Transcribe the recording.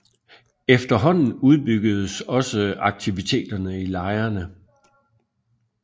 Efterhånden udbyggedes også aktiviteterne i lejrene